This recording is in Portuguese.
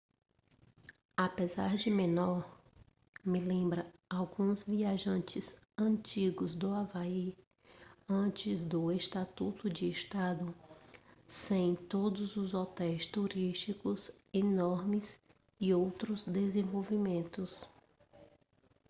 apesar de menor me lembra alguns visitantes antigos do havaí antes do estatuto de estado sem todos os hotéis turísticos enormes e outros desenvolvimentos